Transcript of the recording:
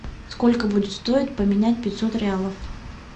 сколько будет стоить поменять пятьсот реалов